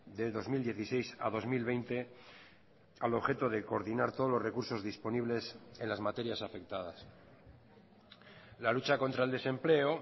de dos mil dieciséis a dos mil veinte al objeto de coordinar todos los recursos disponibles en las materias afectadas la lucha contra el desempleo